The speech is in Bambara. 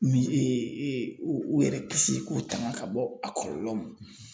Min u u yɛrɛ kisi k'u tanga ka bɔ a kɔlɔlɔw ma